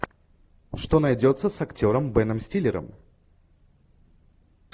что найдется с актером беном стиллером